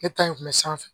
Ne ta in kun bɛ sanfɛ